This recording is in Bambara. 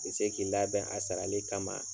Bi se k'i labɛn a sarali kama